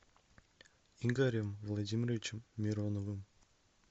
игорем владимировичем мироновым